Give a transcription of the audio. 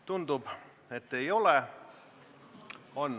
Tundub, et neid ei ole.